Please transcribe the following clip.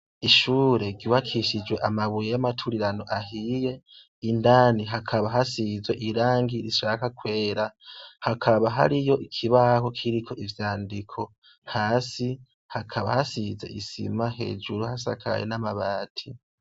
Ubwoiherero bwibakishijwe amabuye n'amatafari ahiye indani hakaba hasigisha ije irangi kera hamwe n'irangi irisanurwazi hasi hakaba asize isima hasa nabi inzugi z'isa nabi.